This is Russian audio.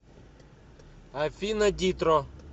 афина дитро